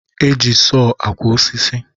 E ji soọ akwo osisi